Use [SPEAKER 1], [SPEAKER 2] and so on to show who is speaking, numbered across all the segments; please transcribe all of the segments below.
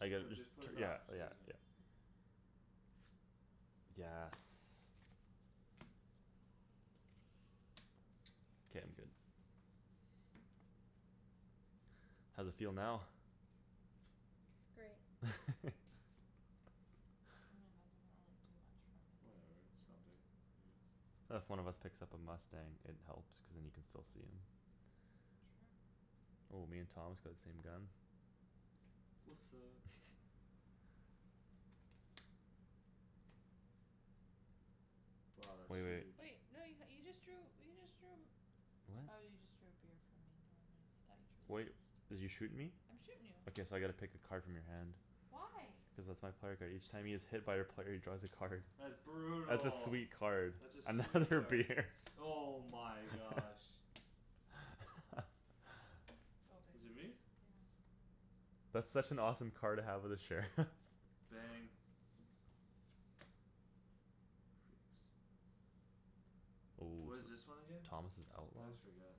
[SPEAKER 1] I
[SPEAKER 2] Just
[SPEAKER 1] get
[SPEAKER 2] put,
[SPEAKER 1] just
[SPEAKER 2] just put
[SPEAKER 1] t-
[SPEAKER 2] it
[SPEAKER 1] yeah,
[SPEAKER 2] back, so you're
[SPEAKER 1] yeah,
[SPEAKER 2] done.
[SPEAKER 1] yeah. Yes. K, I'm good. How's it feel now?
[SPEAKER 3] Great.
[SPEAKER 4] I mean, that doesn't really do much for me.
[SPEAKER 2] Whatever, it's something. I guess.
[SPEAKER 1] If one of us picks up a mustang, it helps cuz then you can still see him.
[SPEAKER 4] True.
[SPEAKER 1] Oh, me and Thomas got the same gun.
[SPEAKER 2] What's up! Wow, that's
[SPEAKER 1] Wai- wait.
[SPEAKER 2] huge.
[SPEAKER 4] Wait, no, you h- you just drew, you just drew Oh, you just drew a
[SPEAKER 1] What?
[SPEAKER 4] beer from me, never mind. I thought you drew
[SPEAKER 1] Wait,
[SPEAKER 4] this.
[SPEAKER 1] did you shoot me?
[SPEAKER 4] I'm shootin' you.
[SPEAKER 1] Okay, so I gotta pick a card from your hand.
[SPEAKER 4] Why?
[SPEAKER 1] Cuz that's my player card. Each time he is hit by a player, he draws a card.
[SPEAKER 2] That's
[SPEAKER 1] That's a
[SPEAKER 2] brutal.
[SPEAKER 1] sweet card.
[SPEAKER 2] That's a sweet
[SPEAKER 1] Another
[SPEAKER 2] card.
[SPEAKER 1] beer.
[SPEAKER 2] Oh my gosh.
[SPEAKER 4] Go,
[SPEAKER 2] Is it
[SPEAKER 4] babe.
[SPEAKER 2] me?
[SPEAKER 4] Yeah.
[SPEAKER 1] That's such an awesome card to have with a sheriff.
[SPEAKER 2] Bang. Freaks.
[SPEAKER 1] Ooh,
[SPEAKER 2] What is this one
[SPEAKER 1] so
[SPEAKER 2] again?
[SPEAKER 1] Thomas is
[SPEAKER 2] I
[SPEAKER 1] outlaw?
[SPEAKER 2] always forget.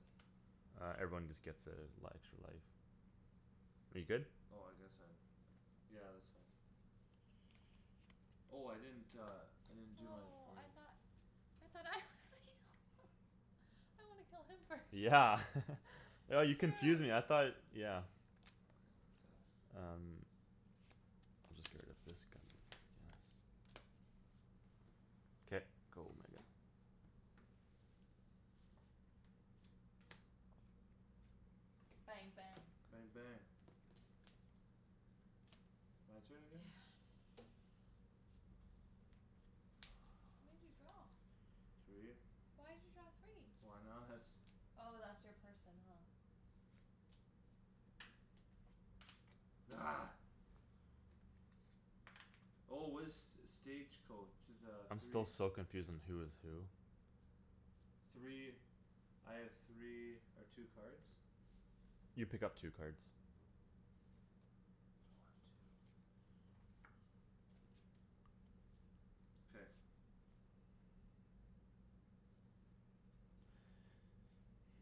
[SPEAKER 1] Uh, everyone just gets a li- extra life. Are you good?
[SPEAKER 2] Oh, I guess I have, yeah. Yeah, that's fine. Oh, I didn't uh, I didn't do that for
[SPEAKER 4] Oh, I
[SPEAKER 2] you.
[SPEAKER 4] thought I thought I was the outlaw. I wanna kill him first.
[SPEAKER 1] Yeah. Oh, you confused me, I
[SPEAKER 4] Shoot.
[SPEAKER 1] thought, yeah. Um. I'll just get rid of this gun, yes. K, go, Megan.
[SPEAKER 4] Bang, bang.
[SPEAKER 2] Bang, bang. My turn
[SPEAKER 4] Yeah.
[SPEAKER 2] again?
[SPEAKER 4] How many did you draw?
[SPEAKER 2] Three.
[SPEAKER 4] Why'd you draw three?
[SPEAKER 2] Why not?
[SPEAKER 4] Oh, that's your person, huh?
[SPEAKER 2] Argh. Oh, what is st- stage coach, the
[SPEAKER 1] I'm still
[SPEAKER 2] three
[SPEAKER 1] so confused on who is who.
[SPEAKER 2] Three, I have three or two cards?
[SPEAKER 1] You pick up two cards.
[SPEAKER 2] One, two. K.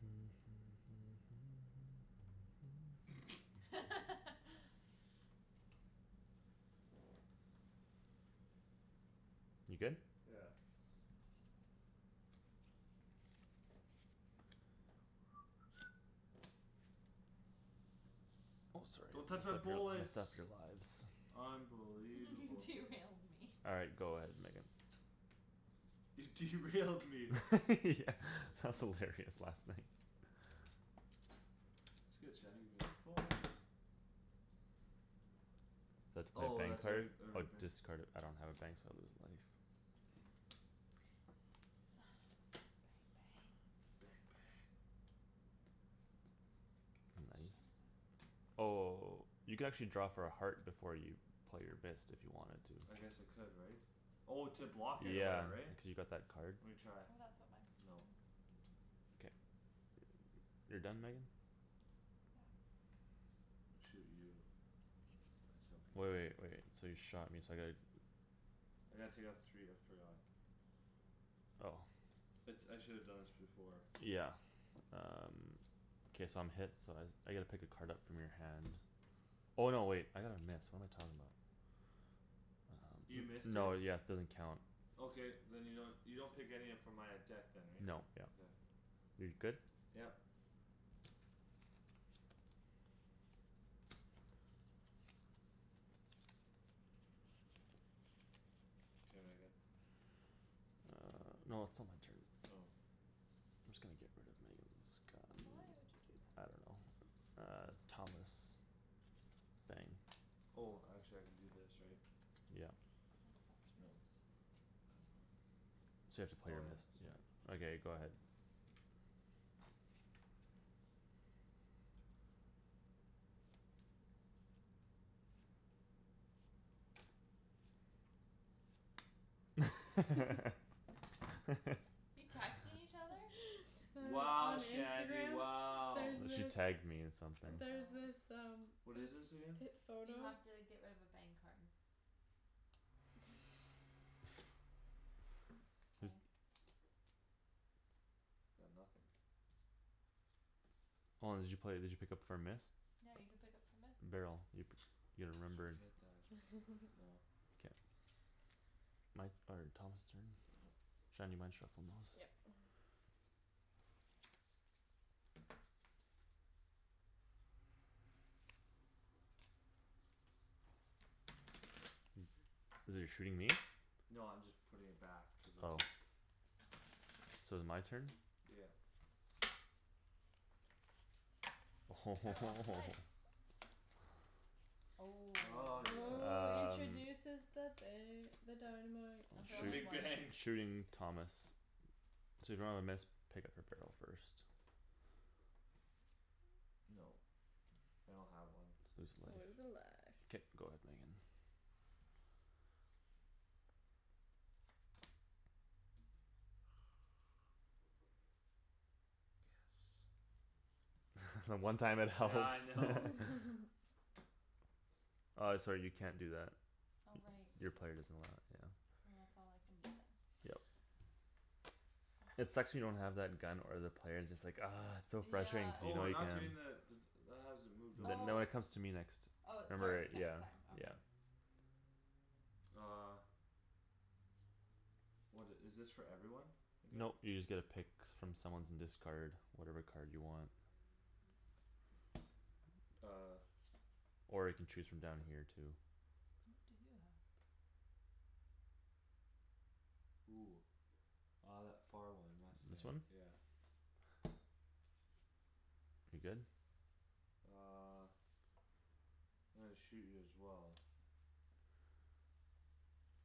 [SPEAKER 1] You good?
[SPEAKER 2] Yeah.
[SPEAKER 1] Oh, sorry.
[SPEAKER 2] Don't touch
[SPEAKER 1] Messed
[SPEAKER 2] my
[SPEAKER 1] up your, messed up
[SPEAKER 2] bullets.
[SPEAKER 1] your lives.
[SPEAKER 2] Unbelievable.
[SPEAKER 4] Derailed me.
[SPEAKER 1] All right, go ahead Megan.
[SPEAKER 2] You derailed me.
[SPEAKER 1] Yeah, that was hilarious last night.
[SPEAKER 2] That's good Shandryn; give me that phone.
[SPEAKER 1] So I have to play a
[SPEAKER 2] Oh,
[SPEAKER 1] bang
[SPEAKER 2] that's every,
[SPEAKER 1] card? Or
[SPEAKER 2] every bang.
[SPEAKER 1] discard a- I don't have a bang so I lose a life.
[SPEAKER 4] Mkay. Yes. Bang, bang.
[SPEAKER 2] Bang, bang.
[SPEAKER 1] Nice. Oh, you can actually draw for a heart before you play your missed if you wanted to.
[SPEAKER 2] I guess I could, right? Oh, to block it or
[SPEAKER 1] Yeah,
[SPEAKER 2] whatever, right?
[SPEAKER 1] cuz you got that card.
[SPEAKER 2] Lemme try.
[SPEAKER 4] Oh, that's what my person
[SPEAKER 2] No.
[SPEAKER 4] is.
[SPEAKER 1] K. You're done, Megan?
[SPEAKER 4] Yeah.
[SPEAKER 2] I shoot you. I shall pick
[SPEAKER 1] Wai- wait, wait,
[SPEAKER 2] this
[SPEAKER 1] so you shot me so I gotta
[SPEAKER 2] I gotta take off three, I forgot.
[SPEAKER 1] Oh.
[SPEAKER 2] It's, I shoulda done this before.
[SPEAKER 1] Yeah. Um K, so I'm hit, so I s- I get to pick a card up from your hand. Oh, no, wait, I got a miss, what am I talking about?
[SPEAKER 2] You
[SPEAKER 1] Um
[SPEAKER 2] missed it?
[SPEAKER 1] no, yes, it doesn't count.
[SPEAKER 2] Okay, then you don't, you don't pick any up from my uh deck then, right?
[SPEAKER 1] Nope, yep.
[SPEAKER 2] Okay.
[SPEAKER 1] You're good?
[SPEAKER 2] Yep. K, Megan.
[SPEAKER 1] Uh, no, it's still my turn.
[SPEAKER 2] Oh.
[SPEAKER 1] I'm just gonna get rid of Megan's gun.
[SPEAKER 4] But why would you do
[SPEAKER 1] I
[SPEAKER 4] that?
[SPEAKER 1] don't know. Uh, Thomas. Bang.
[SPEAKER 2] Oh, actually I can do this, right?
[SPEAKER 1] Yep.
[SPEAKER 4] No, but that's
[SPEAKER 2] So now
[SPEAKER 4] yours.
[SPEAKER 2] it's, that's five?
[SPEAKER 1] So you have to play
[SPEAKER 2] Oh
[SPEAKER 1] your
[SPEAKER 2] yeah,
[SPEAKER 1] missed,
[SPEAKER 2] sorry.
[SPEAKER 1] yeah. Okay, go ahead.
[SPEAKER 4] You texting each other?
[SPEAKER 2] Wow,
[SPEAKER 3] On
[SPEAKER 2] Shandie,
[SPEAKER 3] Instagram,
[SPEAKER 2] wow.
[SPEAKER 3] there's
[SPEAKER 1] she
[SPEAKER 3] this
[SPEAKER 1] tagged me in something.
[SPEAKER 3] there's
[SPEAKER 2] Oh.
[SPEAKER 3] this
[SPEAKER 4] Oh.
[SPEAKER 3] um
[SPEAKER 2] What is
[SPEAKER 3] this
[SPEAKER 2] this again?
[SPEAKER 3] pip
[SPEAKER 4] You
[SPEAKER 3] photo
[SPEAKER 4] have to get rid of a bang card. K.
[SPEAKER 2] Got nothing.
[SPEAKER 1] Hold on, did you play, did you pick up for a miss?
[SPEAKER 4] No, you can pick up for missed?
[SPEAKER 1] Barrel. You p- you
[SPEAKER 2] Just
[SPEAKER 1] remember
[SPEAKER 2] forget that. No.
[SPEAKER 1] K. My, or, Thomas' turn?
[SPEAKER 2] Yep.
[SPEAKER 1] Shan, you mind shuffling those?
[SPEAKER 3] Yep.
[SPEAKER 1] You're shooting me?
[SPEAKER 2] No, I'm just putting it back cuz I
[SPEAKER 1] Oh.
[SPEAKER 2] took
[SPEAKER 1] So is my turn?
[SPEAKER 2] Yep.
[SPEAKER 4] Oh.
[SPEAKER 2] Ah, yes.
[SPEAKER 3] Oh,
[SPEAKER 1] Um.
[SPEAKER 3] introduces the ba- the dynamite.
[SPEAKER 4] I
[SPEAKER 2] The
[SPEAKER 1] I'll
[SPEAKER 4] draw only
[SPEAKER 2] big
[SPEAKER 1] shoot,
[SPEAKER 4] one.
[SPEAKER 2] bang.
[SPEAKER 1] shooting Thomas. So if you don't have a miss, pick up for barrel first.
[SPEAKER 2] Nope. I don't have one.
[SPEAKER 1] Lose
[SPEAKER 3] Lose a life.
[SPEAKER 1] life. K, go ahead, Megan.
[SPEAKER 2] Yes.
[SPEAKER 1] The one time it helps.
[SPEAKER 2] Yeah, I know.
[SPEAKER 1] Uh, sorry, you can't do that.
[SPEAKER 4] Oh, right.
[SPEAKER 1] Y- your player doesn't allow it, yeah.
[SPEAKER 4] Well, that's all I can do then.
[SPEAKER 1] Yep. It sucks when you don't have that gun or the player; it's just like, argh. It's just so frustrating
[SPEAKER 4] Yeah.
[SPEAKER 1] cuz you
[SPEAKER 2] Oh,
[SPEAKER 1] know
[SPEAKER 2] we're
[SPEAKER 1] you
[SPEAKER 2] not
[SPEAKER 1] can.
[SPEAKER 2] doing the d- d- that hasn't moved over,
[SPEAKER 1] Th- no,
[SPEAKER 4] Oh.
[SPEAKER 2] right?
[SPEAKER 1] it comes to me next.
[SPEAKER 4] Oh, it
[SPEAKER 1] Remember,
[SPEAKER 2] Oh.
[SPEAKER 4] starts
[SPEAKER 1] yeah.
[SPEAKER 4] next time. Okay.
[SPEAKER 1] Yeah.
[SPEAKER 2] Uh. What i- is this for everyone again?
[SPEAKER 1] Nope, you just get to pick
[SPEAKER 4] Pick
[SPEAKER 1] from
[SPEAKER 4] someone.
[SPEAKER 1] someone's and discard whatever card you want.
[SPEAKER 2] Uh.
[SPEAKER 1] Or you can choose from down here too.
[SPEAKER 4] What do you have?
[SPEAKER 2] Ooh. Uh, that far one,
[SPEAKER 1] This
[SPEAKER 2] mustang.
[SPEAKER 1] one?
[SPEAKER 2] Yeah.
[SPEAKER 1] You're good?
[SPEAKER 2] Uh. I'm gonna shoot you as well.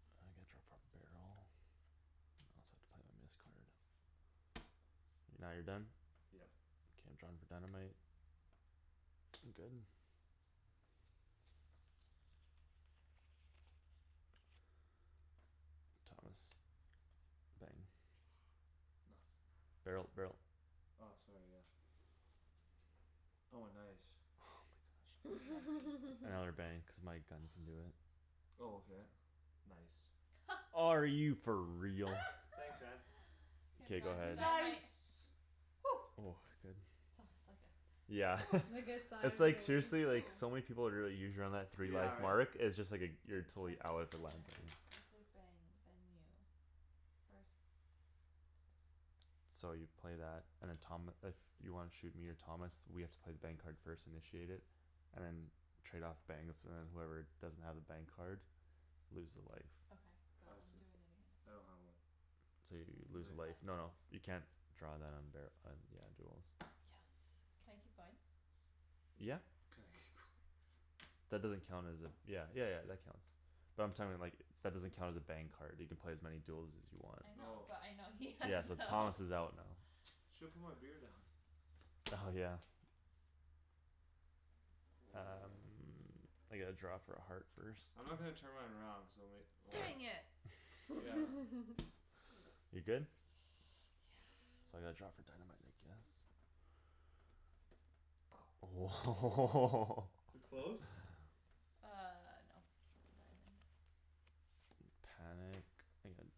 [SPEAKER 1] Uh, I gotta draw for a barrel? I also have to play my miss card. Now you're done?
[SPEAKER 2] Yep.
[SPEAKER 1] K, I'm drawing for dynamite. I'm good. Thomas. Bang.
[SPEAKER 2] Nothing.
[SPEAKER 1] Barrel, barrel.
[SPEAKER 2] Ah, sorry, yeah. Oh, nice.
[SPEAKER 1] Oh my gosh. Another bang cuz my gun can do it.
[SPEAKER 2] Oh, okay. Nice.
[SPEAKER 1] Are you for real?
[SPEAKER 2] Thanks, man.
[SPEAKER 4] K, I'm
[SPEAKER 1] K, go
[SPEAKER 4] drawing for
[SPEAKER 1] ahead.
[SPEAKER 4] dynamite.
[SPEAKER 2] Nice!
[SPEAKER 1] Oh, good.
[SPEAKER 4] That was like a
[SPEAKER 1] Yeah.
[SPEAKER 3] Like a sigh
[SPEAKER 1] It's
[SPEAKER 3] of
[SPEAKER 1] like
[SPEAKER 3] relief.
[SPEAKER 1] seriously, like,
[SPEAKER 4] Ooh.
[SPEAKER 1] so many people would really three
[SPEAKER 2] Yeah,
[SPEAKER 1] life
[SPEAKER 2] right?
[SPEAKER 1] mark; it's just like a,
[SPEAKER 4] A
[SPEAKER 1] you're totally out
[SPEAKER 4] target
[SPEAKER 1] if it
[SPEAKER 4] player
[SPEAKER 1] lands on you.
[SPEAKER 4] discards a bang, then you. First player to discard
[SPEAKER 1] So you play that and then Tom, if you wanna shoot me or Thomas, we have to play bang card first, initiate it. And then trade off bangs, and then whoever doesn't have a bang card Loses a life.
[SPEAKER 4] Okay, go.
[SPEAKER 2] I
[SPEAKER 4] I'm
[SPEAKER 2] see.
[SPEAKER 4] doing it against
[SPEAKER 2] I
[SPEAKER 4] you.
[SPEAKER 2] don't have one.
[SPEAKER 1] So you
[SPEAKER 4] So you
[SPEAKER 1] lose
[SPEAKER 4] lose
[SPEAKER 1] a
[SPEAKER 4] life.
[SPEAKER 1] life, no, no, you can't draw that on bar- on, yeah, duels.
[SPEAKER 4] Yes. Can I keep going?
[SPEAKER 1] Yeah.
[SPEAKER 2] Can I keep going.
[SPEAKER 1] That doesn't count as a, yeah, yeah yeah, that counts. But I'm like, that doesn't count as a bang card. You can play as many duels as you want.
[SPEAKER 4] I know,
[SPEAKER 2] Oh.
[SPEAKER 4] but I know he has
[SPEAKER 1] Yeah, so
[SPEAKER 4] none.
[SPEAKER 1] Thomas is out now.
[SPEAKER 2] Shoulda put my beer down.
[SPEAKER 1] Oh, yeah. Um, I get to draw for a heart first.
[SPEAKER 2] I'm not gonna turn mine around cuz I'll ma- well
[SPEAKER 4] Dang
[SPEAKER 1] Why?
[SPEAKER 4] it!
[SPEAKER 2] Yeah.
[SPEAKER 1] You're good?
[SPEAKER 4] Yeah.
[SPEAKER 1] So I gotta draw for dynamite, I guess. Oh
[SPEAKER 2] Too close?
[SPEAKER 4] Uh, no. Diamond.
[SPEAKER 1] Panic, Megan.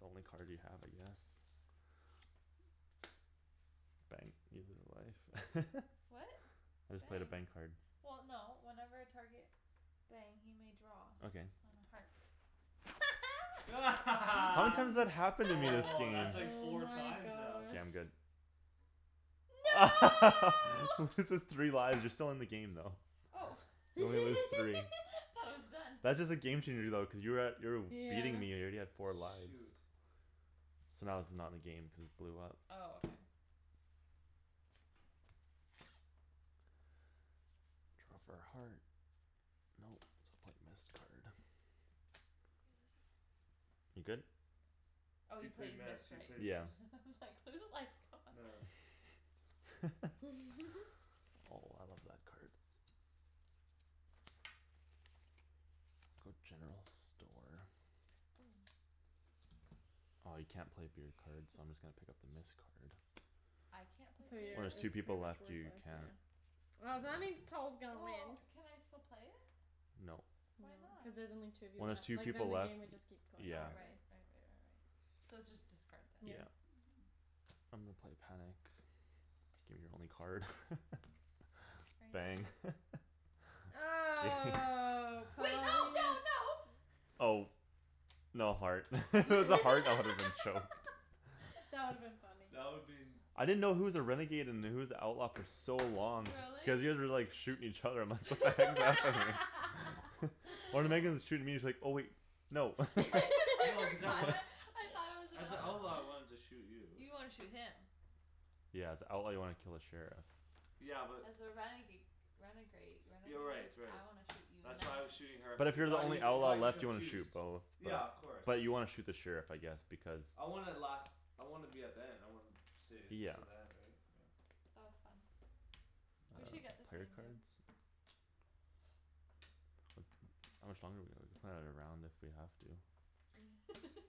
[SPEAKER 1] The only card you have, I guess. Bang. You lose a life.
[SPEAKER 4] What?
[SPEAKER 1] I just played a bang
[SPEAKER 4] Bang.
[SPEAKER 1] card.
[SPEAKER 4] Well, no, whenever a target Bang, he may draw
[SPEAKER 1] Okay.
[SPEAKER 4] on a heart.
[SPEAKER 1] How many
[SPEAKER 2] Woah,
[SPEAKER 1] times that happened to me this game?
[SPEAKER 2] that's like
[SPEAKER 3] Oh
[SPEAKER 2] four
[SPEAKER 3] my
[SPEAKER 2] times now.
[SPEAKER 1] K,
[SPEAKER 3] gosh.
[SPEAKER 1] I'm good.
[SPEAKER 4] No!
[SPEAKER 1] Loses three lives, you're still in the game, though.
[SPEAKER 4] Oh.
[SPEAKER 1] You only lose three.
[SPEAKER 4] Thought it was done.
[SPEAKER 1] That's just a game changer, though cuz you were at, you were w- beating
[SPEAKER 3] Yeah.
[SPEAKER 1] me, you're already at four lives.
[SPEAKER 2] Shoot.
[SPEAKER 1] So now this is not in the game, cuz it blew up.
[SPEAKER 4] Oh, okay.
[SPEAKER 1] Draw for a heart. Nope, so I'll play a missed card.
[SPEAKER 4] You lose a life.
[SPEAKER 1] You good?
[SPEAKER 4] Oh,
[SPEAKER 2] He
[SPEAKER 4] you
[SPEAKER 2] play
[SPEAKER 4] played
[SPEAKER 2] miss,
[SPEAKER 4] missed,
[SPEAKER 2] he
[SPEAKER 4] right?
[SPEAKER 2] played
[SPEAKER 1] Yeah.
[SPEAKER 2] miss.
[SPEAKER 4] I'm like, "Lose a life, god."
[SPEAKER 2] Nah.
[SPEAKER 1] Oh, I love that card. Go general store.
[SPEAKER 4] Oh.
[SPEAKER 1] Ah, you can't play beer cards so I'm just gonna pick up the miss card.
[SPEAKER 4] I can't play
[SPEAKER 3] So
[SPEAKER 4] beer
[SPEAKER 1] When
[SPEAKER 3] your,
[SPEAKER 1] there's
[SPEAKER 4] cards?
[SPEAKER 1] two
[SPEAKER 3] it's pretty
[SPEAKER 1] people
[SPEAKER 3] much
[SPEAKER 1] left, you
[SPEAKER 3] worthless,
[SPEAKER 1] can't.
[SPEAKER 3] yeah. Oh, so that means Paul's gonna
[SPEAKER 4] Well,
[SPEAKER 3] win.
[SPEAKER 4] can I still play it?
[SPEAKER 1] Nope.
[SPEAKER 3] No,
[SPEAKER 4] Why
[SPEAKER 3] cuz
[SPEAKER 4] not?
[SPEAKER 3] there's only two of you
[SPEAKER 1] When there's
[SPEAKER 3] left.
[SPEAKER 1] two
[SPEAKER 3] Like, then
[SPEAKER 1] people
[SPEAKER 3] the
[SPEAKER 1] left,
[SPEAKER 3] game would just keep going
[SPEAKER 1] yeah.
[SPEAKER 4] Oh,
[SPEAKER 3] forever.
[SPEAKER 4] right. Right right right right.. So it's just discard then.
[SPEAKER 3] Yeah.
[SPEAKER 1] Yeah. I'm gonna play panic. Gimme your only card.
[SPEAKER 4] Are you
[SPEAKER 1] Bang.
[SPEAKER 4] done?
[SPEAKER 3] Oh,
[SPEAKER 4] Wait, no, no,
[SPEAKER 3] Paul
[SPEAKER 4] no!
[SPEAKER 1] Oh. No heart. If it was a heart, I woulda been choked.
[SPEAKER 3] That would've been funny.
[SPEAKER 2] That would been
[SPEAKER 1] I didn't know who was a renegade and who was the outlaw for so long.
[SPEAKER 4] Really?
[SPEAKER 1] Cuz you guys were, like, shooting each other, I'm like, "What the heck is happening?" When
[SPEAKER 2] Outlaw.
[SPEAKER 1] Megan's shooting me, it's like, oh wait, no.
[SPEAKER 2] No, cuz I want
[SPEAKER 4] I thought I was an
[SPEAKER 2] As a outlaw, I
[SPEAKER 4] outlaw.
[SPEAKER 2] wanted to shoot you.
[SPEAKER 4] You wanna shoot him.
[SPEAKER 1] Yeah, as a outlaw, you wanna kill the sheriff.
[SPEAKER 2] Yeah, but.
[SPEAKER 4] As a renega- renegrade,
[SPEAKER 2] Yeah,
[SPEAKER 4] renegade?
[SPEAKER 2] right, right.
[SPEAKER 4] I wanna shoot you and
[SPEAKER 2] That's
[SPEAKER 4] then
[SPEAKER 2] why I
[SPEAKER 4] her.
[SPEAKER 2] was shooting her
[SPEAKER 1] But
[SPEAKER 2] f-
[SPEAKER 1] if
[SPEAKER 2] it
[SPEAKER 1] you're the
[SPEAKER 2] got you,
[SPEAKER 1] only
[SPEAKER 2] it
[SPEAKER 1] outlaw
[SPEAKER 2] got you
[SPEAKER 1] left, you wanna shoot
[SPEAKER 2] confused.
[SPEAKER 1] both.
[SPEAKER 2] Yeah,
[SPEAKER 1] But,
[SPEAKER 2] of course.
[SPEAKER 1] but you wanna shoot the sheriff, I guess, because
[SPEAKER 2] I wanna last, I wanna be at the end, I wanna stay
[SPEAKER 1] Yeah.
[SPEAKER 2] till the end, right? Yeah.
[SPEAKER 4] That was fun.
[SPEAKER 2] It
[SPEAKER 4] We
[SPEAKER 1] Uh,
[SPEAKER 2] was.
[SPEAKER 4] should get this
[SPEAKER 1] player
[SPEAKER 4] game, babe.
[SPEAKER 1] cards? How much longer do we have? We can play another round if we have to.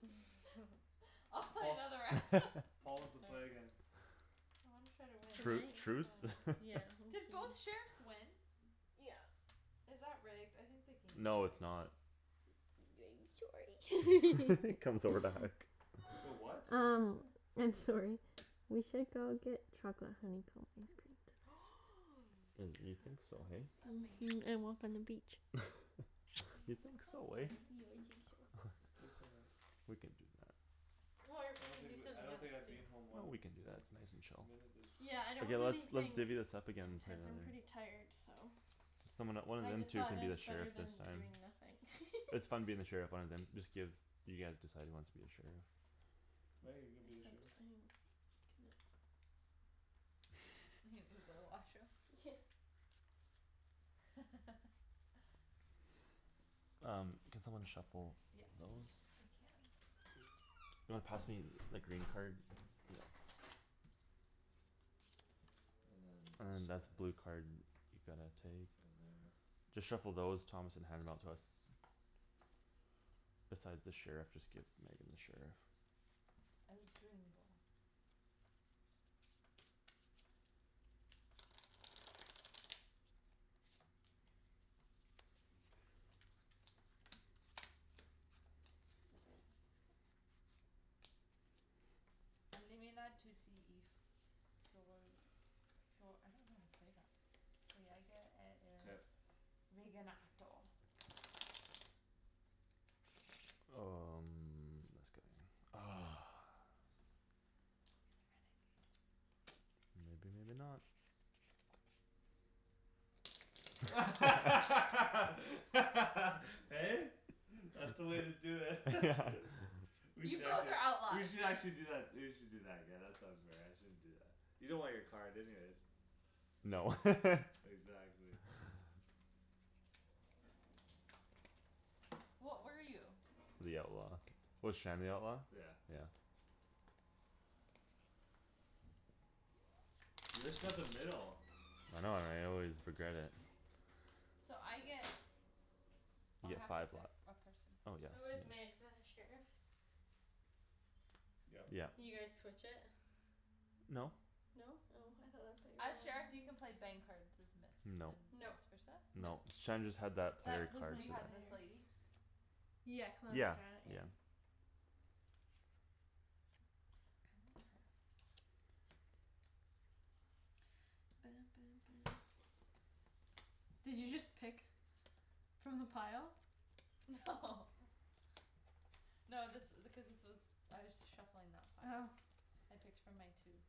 [SPEAKER 4] I'll play
[SPEAKER 2] Paul,
[SPEAKER 4] another round.
[SPEAKER 2] Paul wants to
[SPEAKER 3] All
[SPEAKER 2] play
[SPEAKER 3] right.
[SPEAKER 2] again.
[SPEAKER 4] Well, I'm try to win,
[SPEAKER 3] Can
[SPEAKER 1] Tru-
[SPEAKER 4] that
[SPEAKER 3] I?
[SPEAKER 4] was really
[SPEAKER 1] truce?
[SPEAKER 4] fun.
[SPEAKER 3] Yeah,
[SPEAKER 4] Did
[SPEAKER 3] okay.
[SPEAKER 4] both sheriffs win?
[SPEAKER 3] Yeah.
[SPEAKER 4] Is that rigged? I think the game's
[SPEAKER 1] No, it's
[SPEAKER 4] rigged.
[SPEAKER 1] not.
[SPEAKER 3] sorry.
[SPEAKER 1] comes over to hug.
[SPEAKER 2] The what? What's
[SPEAKER 3] Um
[SPEAKER 2] it say?
[SPEAKER 3] I'm sorry. We should go get chocolate honeycomb ice cream tonight.
[SPEAKER 1] And, you
[SPEAKER 4] That
[SPEAKER 1] think so, hey?
[SPEAKER 4] sounds amazing.
[SPEAKER 3] Mhm, and walk on the beach.
[SPEAKER 1] You
[SPEAKER 4] Aw, that
[SPEAKER 1] think
[SPEAKER 4] sounds
[SPEAKER 1] so, eh?
[SPEAKER 4] nice.
[SPEAKER 3] Yeah, I think so.
[SPEAKER 2] Do it so much.
[SPEAKER 1] We can do that.
[SPEAKER 3] Or
[SPEAKER 2] I
[SPEAKER 3] we
[SPEAKER 2] don't
[SPEAKER 3] could
[SPEAKER 2] think
[SPEAKER 3] do
[SPEAKER 2] w- I
[SPEAKER 3] something
[SPEAKER 2] don't
[SPEAKER 3] else
[SPEAKER 2] think I'd
[SPEAKER 3] too.
[SPEAKER 2] be in home
[SPEAKER 1] Well,
[SPEAKER 2] one,
[SPEAKER 1] we can do that,
[SPEAKER 2] one
[SPEAKER 1] it's nice and chill.
[SPEAKER 2] minute this
[SPEAKER 3] Yeah, I don't
[SPEAKER 1] Okay,
[SPEAKER 3] want
[SPEAKER 1] let's, let's
[SPEAKER 3] anything
[SPEAKER 1] divvy this up again and play
[SPEAKER 3] intense, I'm pretty
[SPEAKER 1] another.
[SPEAKER 3] tired, so.
[SPEAKER 1] Someone that- one of
[SPEAKER 3] I
[SPEAKER 1] them
[SPEAKER 3] just
[SPEAKER 1] two
[SPEAKER 3] thought
[SPEAKER 1] can
[SPEAKER 3] that
[SPEAKER 1] be the
[SPEAKER 3] it's better
[SPEAKER 1] sheriff this
[SPEAKER 3] than
[SPEAKER 1] time.
[SPEAKER 3] doing nothing.
[SPEAKER 1] It's fun being the sheriff, one of them, just give, you guys decide who wants to be the sheriff.
[SPEAKER 2] Meg, are you gonna be the
[SPEAKER 3] Except
[SPEAKER 2] sheriff?
[SPEAKER 3] I have
[SPEAKER 4] go to the washroom.
[SPEAKER 1] Um, can someone shuffle
[SPEAKER 4] Yes,
[SPEAKER 1] those?
[SPEAKER 4] I can.
[SPEAKER 1] You wanna pass me the green card? Yeah.
[SPEAKER 2] And then
[SPEAKER 1] And
[SPEAKER 2] this
[SPEAKER 1] then
[SPEAKER 2] guy.
[SPEAKER 1] that's blue card, you gotta take.
[SPEAKER 2] Then there
[SPEAKER 1] Just shuffle those, Thomas, and hand them out to us. Besides the sheriff, just give Megan the sheriff.
[SPEAKER 4] El Gringo. I don't know how to say that.
[SPEAKER 2] Mkay.
[SPEAKER 1] Um, this guy. Ah.
[SPEAKER 4] You're the renegade.
[SPEAKER 1] Maybe, maybe not.
[SPEAKER 2] Hey? That's the way to do it. We
[SPEAKER 4] You
[SPEAKER 2] should
[SPEAKER 4] both
[SPEAKER 2] actually,
[SPEAKER 4] are
[SPEAKER 2] we
[SPEAKER 4] outlaws!
[SPEAKER 2] should actually do that, we should do that again, that sounds fair, I shouldn't do that. You don't want your card anyways.
[SPEAKER 1] No.
[SPEAKER 2] Exactly.
[SPEAKER 4] What were you?
[SPEAKER 1] The outlaw. Was Shan the outlaw?
[SPEAKER 2] Yeah.
[SPEAKER 1] Yeah.
[SPEAKER 2] You just got the middle.
[SPEAKER 1] I know, and I always regret it.
[SPEAKER 4] So I get
[SPEAKER 1] You
[SPEAKER 4] Oh, I
[SPEAKER 1] get
[SPEAKER 4] have to
[SPEAKER 1] five life.
[SPEAKER 4] pick a person.
[SPEAKER 1] Oh, yeah,
[SPEAKER 3] Who is Meg,
[SPEAKER 1] yeah.
[SPEAKER 3] the sheriff?
[SPEAKER 2] Yep.
[SPEAKER 1] Yeah.
[SPEAKER 3] You guys
[SPEAKER 4] Mhm.
[SPEAKER 3] switch it?
[SPEAKER 1] No.
[SPEAKER 3] No? Oh, I thought that's what you
[SPEAKER 4] As sheriff, you can
[SPEAKER 3] were
[SPEAKER 4] play bang cards as miss
[SPEAKER 1] No.
[SPEAKER 4] and
[SPEAKER 3] Nope.
[SPEAKER 4] vice versa?
[SPEAKER 3] Nope.
[SPEAKER 1] No. Shan just had that player
[SPEAKER 3] That was
[SPEAKER 1] card
[SPEAKER 3] my
[SPEAKER 4] You had this
[SPEAKER 3] player.
[SPEAKER 4] lady?
[SPEAKER 3] Yeah, Calamity
[SPEAKER 1] Yeah.
[SPEAKER 3] Janet, yeah.
[SPEAKER 1] Yeah.
[SPEAKER 4] I want her.
[SPEAKER 3] Did you just pick From the pile?
[SPEAKER 4] No. No, this i- because this was I was shuffling that pile.
[SPEAKER 3] Oh.
[SPEAKER 4] I picked from my two.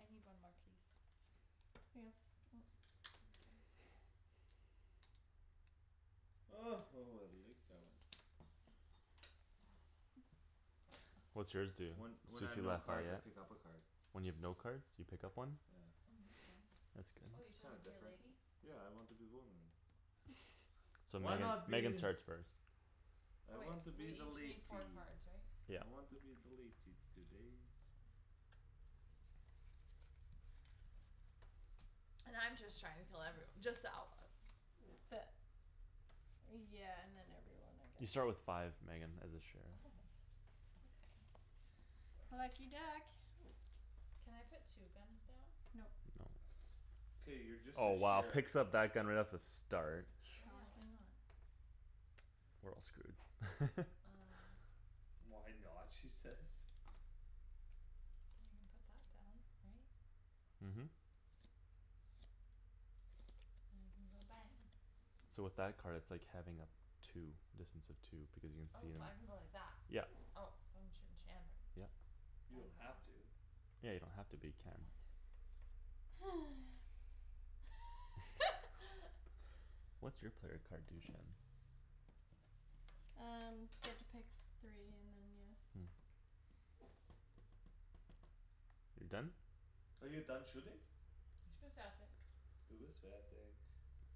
[SPEAKER 4] I need one more, please.
[SPEAKER 3] Yeah.
[SPEAKER 4] Thank you.
[SPEAKER 2] Oh, oh, I like that one.
[SPEAKER 1] What's yours do?
[SPEAKER 2] When, when I have
[SPEAKER 1] Suzy
[SPEAKER 2] no cards, I
[SPEAKER 1] Lafayette?
[SPEAKER 2] pick up a card.
[SPEAKER 1] When you have no cards, you pick up one?
[SPEAKER 2] Yeah.
[SPEAKER 4] Mm, that's nice.
[SPEAKER 1] That's
[SPEAKER 4] Oh, you
[SPEAKER 1] good.
[SPEAKER 4] chose
[SPEAKER 2] Kinda
[SPEAKER 4] to be a
[SPEAKER 2] different.
[SPEAKER 4] lady?
[SPEAKER 2] Yeah, I want to be woman.
[SPEAKER 1] So
[SPEAKER 2] Why
[SPEAKER 1] Megan,
[SPEAKER 2] not
[SPEAKER 1] Megan
[SPEAKER 2] be
[SPEAKER 1] starts first.
[SPEAKER 2] I
[SPEAKER 4] Oh, wait,
[SPEAKER 2] want to
[SPEAKER 4] we
[SPEAKER 2] be the
[SPEAKER 4] each
[SPEAKER 2] latey.
[SPEAKER 4] need four cards, right?
[SPEAKER 1] Yeah.
[SPEAKER 2] I want to be the latey today.
[SPEAKER 4] And I'm just trying to kill everyo- just the outlaws.
[SPEAKER 3] The Yeah, and then everyone, I
[SPEAKER 1] You
[SPEAKER 3] guess.
[SPEAKER 1] start with five, Megan, as a sheriff.
[SPEAKER 4] Oh. Okay.
[SPEAKER 3] Lucky duck.
[SPEAKER 4] Can I put two guns down?
[SPEAKER 3] Nope.
[SPEAKER 1] No.
[SPEAKER 2] K, you're just the
[SPEAKER 1] Oh, wow,
[SPEAKER 2] sheriff.
[SPEAKER 1] picks up that gun right off the start.
[SPEAKER 4] Well, yeah, why
[SPEAKER 3] Shocking.
[SPEAKER 4] not?
[SPEAKER 1] We're all screwed.
[SPEAKER 4] Um.
[SPEAKER 2] "Why not?" she says.
[SPEAKER 4] Well, I can put that down, right?
[SPEAKER 1] Mhm.
[SPEAKER 4] go bang.
[SPEAKER 1] So with that card, it's like having a two, distance of two, because you can
[SPEAKER 4] Oh,
[SPEAKER 1] see
[SPEAKER 4] so
[SPEAKER 1] him,
[SPEAKER 4] I can go like that.
[SPEAKER 1] yep.
[SPEAKER 4] Oh, so I'm shooting Shandryn.
[SPEAKER 1] Yep.
[SPEAKER 2] You
[SPEAKER 4] Bang,
[SPEAKER 2] don't
[SPEAKER 4] bang.
[SPEAKER 2] have to.
[SPEAKER 1] Yeah, you don't have to, but you
[SPEAKER 4] I
[SPEAKER 1] can.
[SPEAKER 4] want to.
[SPEAKER 1] What's your player card do, Shan?
[SPEAKER 3] Um, get to pick three and then, yeah.
[SPEAKER 1] Mm. You're done?
[SPEAKER 2] Are you done shooting? Du bist fertig.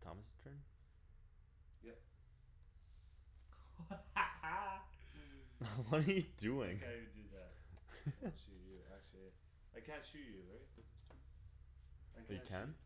[SPEAKER 1] Thomas' turn?
[SPEAKER 2] Yep.
[SPEAKER 1] What are you
[SPEAKER 2] I
[SPEAKER 1] doing?
[SPEAKER 2] can't even do that. I wanna shoot you, actually. I can't shoot you, right?